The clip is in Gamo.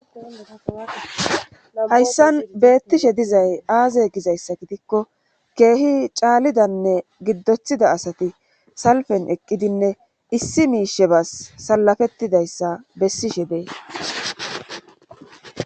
Hayssan beettishe dizay aaze gizayssa gidikko keehi caalidanne giddothida asati salfen eqqidinne issi miishe bas salafettidayssa bessi she bee